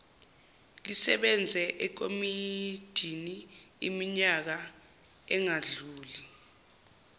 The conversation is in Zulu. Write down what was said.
lisebenze ekomidiniiminyaka engadluli